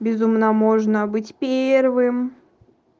безумно можно быть первым